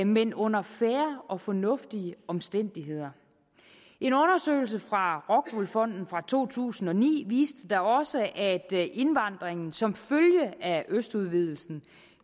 men under fair og fornuftige omstændigheder en undersøgelse fra rockwool fonden fra to tusind og ni viste da også at indvandringen som følge af østudvidelsen